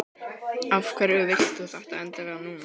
Af hverju vilt þú þetta endilega núna?